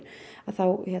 þá